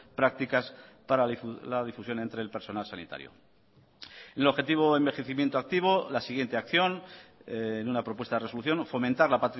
prácticas para la difusión entre el personal sanitario el objetivo envejecimiento activo la siguiente acción en una propuesta de resolución fomentar la